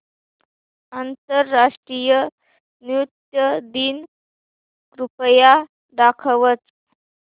आंतरराष्ट्रीय नृत्य दिन कृपया दाखवच